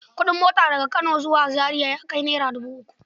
Kuɗin mota daga Kano zuwa Zaria ya kai naira dubu uku.